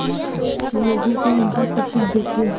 लोगों को उनका सब कुछ देके